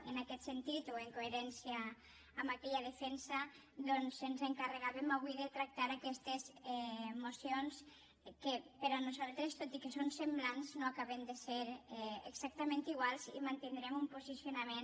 en aquest sentit o en coherència amb aquella defensa doncs ens encarregàvem avui tractar aquestes mocions que per nosaltres tot i que són semblants no acaben de ser exactament iguals i mantindrem un posicionament